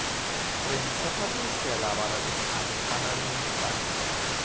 train सफर में इसके अलावा राजस्थानी खाना भी मिलता है